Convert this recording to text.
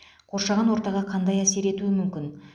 қоршаған ортаға қандай әсер етуі мүмкін